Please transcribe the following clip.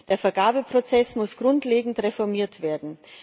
Der Vergabeprozess muss grundlegend reformiert werden.